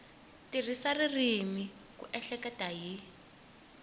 tirhisa ririmi ku ehleketa hi